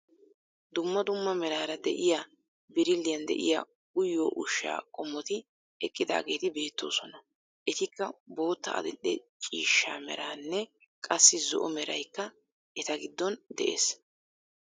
Dumma dumma meraara de'iyaa birilliyaan de'iyaa uyiyoo ushshaa qommoti eqqidaageti beettoosona. Etikka bootta adil"e ciishsha meranne qassi zo"o meraykka eta giddon de'ees.